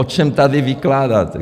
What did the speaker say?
O čem tady vykládáte?